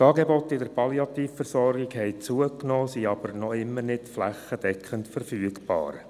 Die Angebote in der Palliativversorgung haben zugenommen, sind aber immer noch nicht flächendeckend verfügbar.